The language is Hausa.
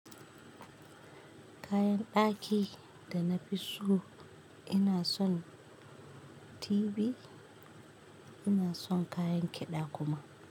Kayan ɗaki da na fi so ina son TV ina son kayan kiɗa kuma.